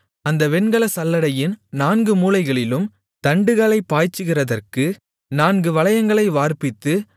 அந்த வெண்கலச் சல்லடையின் நான்கு மூலைகளிலும் தண்டுகளைப் பாய்ச்சுகிறதற்கு நான்கு வளையங்களை வார்ப்பித்து